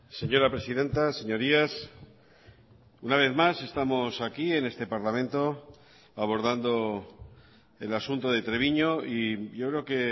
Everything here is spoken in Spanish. señora presidenta señorías una vez más estamos aquí en este parlamento abordando el asunto de treviño y yo creo que